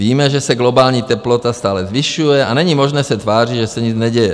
Víme, že se globální teplota stále zvyšuje, a není možné se tvářit, že se nic neděje.